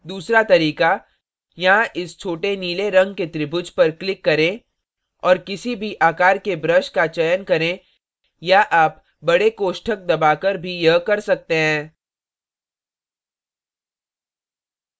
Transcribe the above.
दूसरा तरीका यहाँ इस छोटे नीले रंग के त्रिभुज पर click करें और किसी भी आकार के brush का चयन करें या आप बड़े कोष्ठक दबाकर भी यह कर सकते हैं